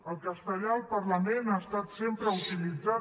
el castellà al parlament ha estat sempre utilitzat